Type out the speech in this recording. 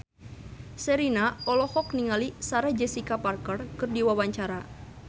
Sherina olohok ningali Sarah Jessica Parker keur diwawancara